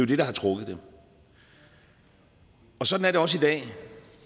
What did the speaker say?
det der har trukket det sådan er det også i dag